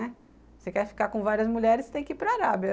Né, se você quer ficar com várias mulheres, você tem que ir para a Arábia.